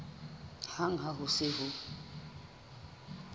hang ha ho se ho